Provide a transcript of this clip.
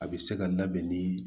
A bɛ se ka labɛn ni